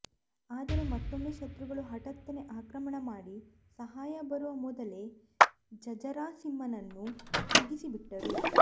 ಆದರೆ ಮತ್ತೊಮ್ಮೆ ಶತ್ರುಗಳು ಹಠಾತ್ತನೆ ಆಕ್ರಮಣ ಮಾಡಿ ಸಹಾಯ ಬರುವ ಮೊದಲೇ ಜಝಾರಸಿಂಹನನ್ನು ಮುಗಿಸಿಬಿಟ್ಟರು